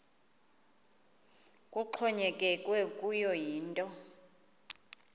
kuxhonyekekwe kuyo yinto